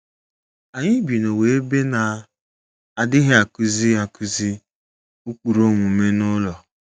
Anyị bi n’ụwa ebe na - adịghị akụzi akụzi ụkpụrụ omume n’ụlọ.